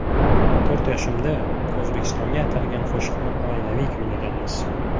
To‘rt yoshimda O‘zbekistonga atalgan qo‘shiqni oilaviy kuylaganmiz.